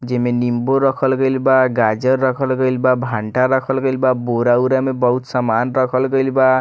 जे में निम्बू रखल गइल बा गाजर रखल गइल बा भंटा रखल गइल बा बोरा-उरा में बहुत समान रखल गइल बा।